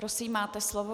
Prosím, máte slovo.